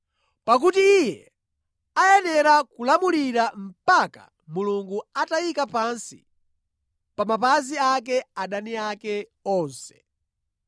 Pakuti Iye ayenera kulamulira mpaka Mulungu atayika pansi pa mapazi ake adani ake onse.